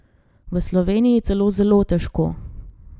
V Sloveniji celo zelo težko.